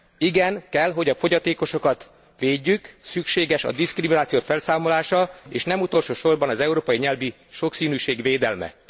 Igen, kell, hogy a fogyatékosokat védjük, szükséges a diszkrimináció felszámolása és nem utolsó sorban az európai nyelvi sokszínűség védelme.